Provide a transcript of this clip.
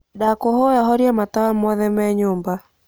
ndakuhoya horia matawa mothe me nyumba